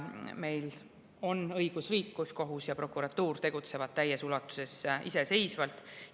Meil on õigusriik, kus kohus ja prokuratuur tegutsevad täies ulatuses iseseisvalt.